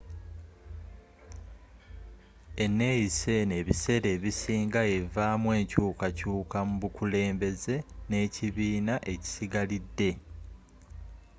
eneeyisa eno ebiseera ebisinga evaamu enkyuukakyuuka mu bukulembeze nekibiina ekisigalidde